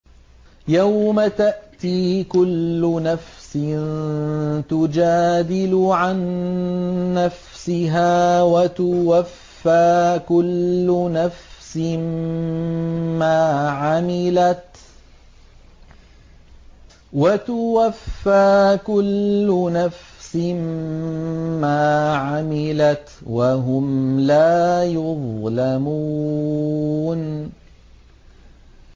۞ يَوْمَ تَأْتِي كُلُّ نَفْسٍ تُجَادِلُ عَن نَّفْسِهَا وَتُوَفَّىٰ كُلُّ نَفْسٍ مَّا عَمِلَتْ وَهُمْ لَا يُظْلَمُونَ